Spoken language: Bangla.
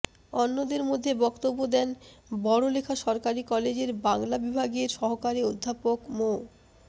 অন্যদের মধ্যে বক্তব্য দেন বড়লেখা সরকারি কলেজের বাংলা বিভাগের সহকারী অধ্যাপক মো